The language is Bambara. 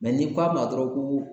ni k'a ma dɔrɔn ko